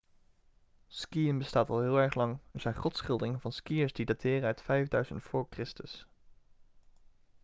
skiën bestaat al heel erg lang er zijn grotschilderingen van skiërs die dateren uit 5000 v.chr